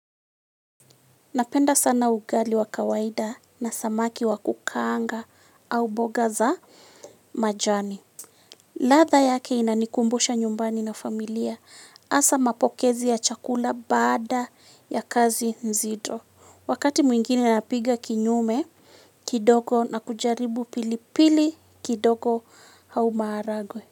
Napenda sana ugali wa kawaida na samaki wa kukaanga au mboga za majani. Ladha yake inanikumbusha nyumbani na familia hasa mapokezi ya chakula baada ya kazi nzido. Wakati mwingine napiga kinyume kidogo na kujaribu pilipili kidogo hau maharagwe.